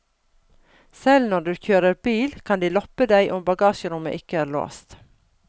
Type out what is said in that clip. Selv når du kjører bil kan de loppe deg om bagasjerommet ikke er låst.